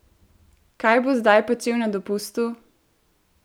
Kaj bo zdaj počel na dopustu?